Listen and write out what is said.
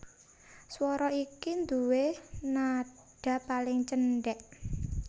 Swara iki nduwé nadha paling cendhèk